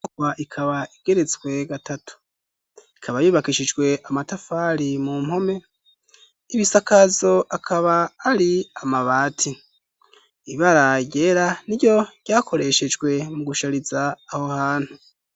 Igorofa ikaba igeretswe gatatu, ikaba yubakishijwe amatafari mu mpome, ibisakazo akaba ari amabati, ibara ryera n'iryo ryakoreshejwe mu gushariza aho hantu